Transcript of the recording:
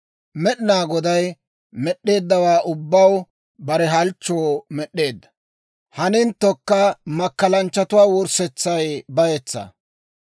Med'inaa Goday med'd'eeddawaa ubbaa bare halchchoo med'eedda; haninttokka makkalanchchatuwaa wurssetsay bayetsaa.